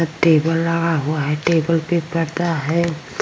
Table लगा हुआ है| टेबल पे पर्दा है।